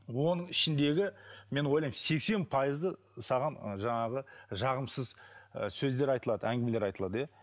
оның ішіндегі мен ойлаймын сексен пайызы саған жаңағы жағымсыз ы сөздер айтылады әңгімелер айтылады иә